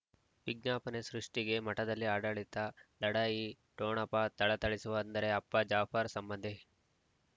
ವಿಜ್ಞಾಪನೆ ಸೃಷ್ಟಿಗೆ ಮಠದಲ್ಲಿ ಆಡಳಿತ ಲಢಾಯಿ ಠೊಣಪ ಥಳಥಳಿಸುವ ಅಂದರೆ ಅಪ್ಪ ಜಾಫರ್ ಸಂಬಂಧಿ